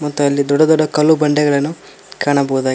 ಮತ್ತೆ ಅಲ್ಲಿ ದೊಡ್ಡ ದೊಡ್ಡ ಕಲ್ಲು ಬಂಡೆಗಳನ್ನು ಕಾಣಬಹುದಾಗಿ--